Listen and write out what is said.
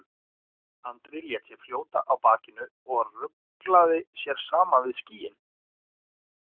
Andri lét sig fljóta á bakinu og ruglaði sér saman við skýin.